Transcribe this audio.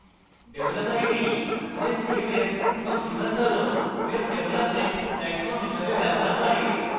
developer এটি উভয় cms এবং বৃহত্তর web ডেভেলপমেন্ট প্ল্যাটফর্ম হিসাবে ব্যবহার করে